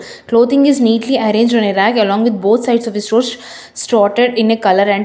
clothing is neatly arranged on a rag along with both sides of the stores started in a colour and --